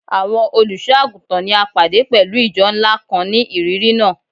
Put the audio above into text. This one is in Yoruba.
Awọn oluso-aguntan ni a pade pẹlu ijọ nla kan ni iriri naa